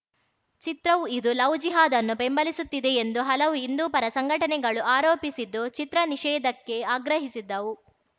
ಚಿತ್ರವು ಇದು ಲವ್‌ ಜಿಹಾದ್‌ ಅನ್ನು ಬೆಂಬಲಿಸುತ್ತಿದೆ ಎಂದು ಹಲವು ಹಿಂದೂ ಪರ ಸಂಘಟನೆಗಳು ಆರೋಪಿಸಿದ್ದು ಚಿತ್ರ ನಿಷೇಧಕ್ಕೆ ಆಗ್ರಹಿಸಿದ್ದವು